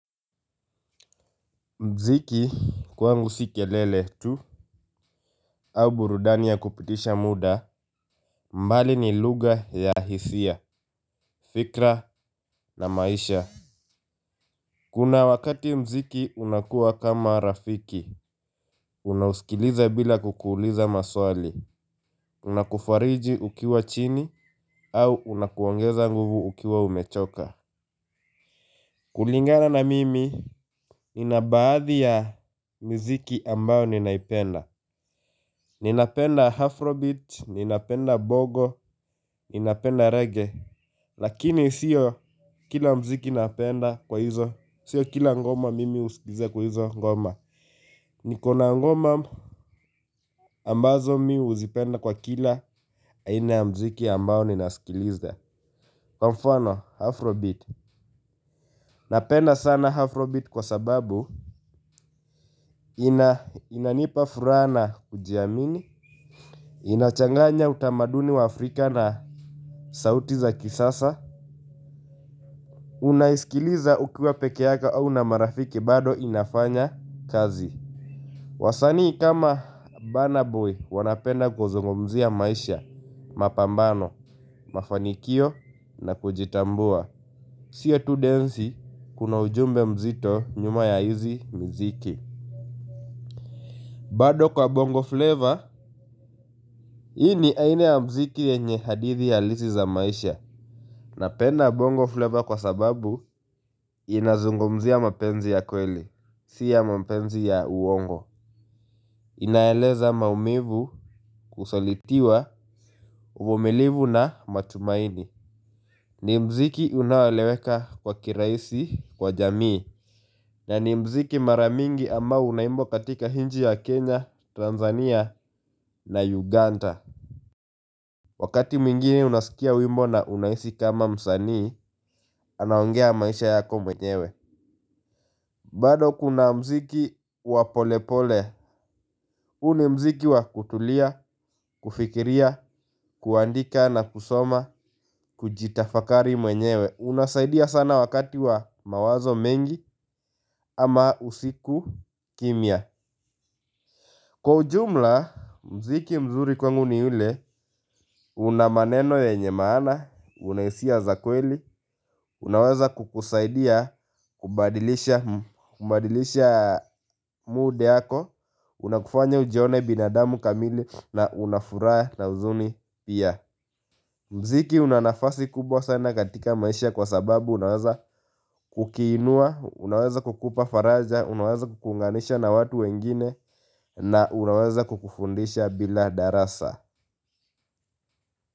Mziki kwangu si kelele tu au burudani ya kupitisha muda, bali ni lugha ya hisia, fikra na maisha. Kuna wakati mziki unakua kama rafiki, unausikiliza bila kukuuliza maswali, unakufariji ukiwa chini, au unakuongeza nguvu ukiwa umechoka. Kulingana na mimi, nina baadhi ya miziki ambayo ninaipenda. Ninapenda Afrobeat, ninapenda Bongo, Ninapenda Rege. Lakini sio kila mziki napenda kwa hizo, sio kila ngoma mimi usikiliza kwa hizo ngoma. Niko na ngoma ambazo mimi huzipenda kwa kila, aina ya mziki ambayo ninasikiliza. Kwa mfano Afrobeat, napenda sana Afrobeat kwa sababu. Inanipa furaha na kujiamini, inachanganya utamaduni wa Afrika na sauti za kisasa, unaisikiliza ukiwa peke yako au na marafiki bado inafanya kazi. Wasani kama Burna Boy wanapenda kuzungumzia maisha, mapambano, mafanikio na kujitambua. Sio tu densi kuna ujumbe mzito nyuma ya hizi mziki. Bado kwenye Bongo Fleva, hii ni aina ya muziki yenye hadithi halisi za maisha. Napenda bongo flavor kwa sababu inazungumzia mapenzi ya kweli, si ya mapenzi ya uongo. Inaeleza maumivu, kusalitiwa, uvumiliu na matumaini. Ni mziki unaoeleweka kwa kiraisi kwa jamii. Na ni muziki mara mingi ambao unaimbwa katika nchi ya Kenya, Tanzania na Uganda. Wakati mwingine unsaikia wimbo na unahisi kama msanii anaongea maisha yako mwenyewe. Bado kuna muziki wa polepole. Huu ni muziki wa kutulia, kufikiria, kuandika na kusoma, kujitafakari mwenyewe. Unasaidia sana wakati wa mawazo mengi ama usiku kimya. Kwa ujumla, muziki mzuri kwangu ni ule una maneno yenye maana una hisia za kweli. Unaweza kukusaidia, kubadilisha mood yako. Unakufanya ujione binadamu kamili na unafuraha na uzuni pia. Mziki una nafasi kubwa sana katika maisha kwa sababu unaweza kukuinua, unaweza kukupa faraja unaweza kukuunganisha na watu wengine. Na unaweza kukufundisha bila darasa.